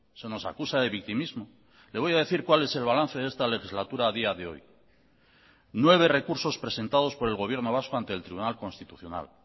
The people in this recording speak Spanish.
se nos acusa de victimismo le voy a decir cuál es el balance de esta legislatura a día de hoy nueve recursos presentados por el gobierno vasco ante el tribunal constitucional